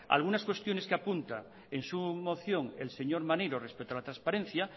algunas cuestiones que apunta en su moción el señor maneiro respecto a la transparencia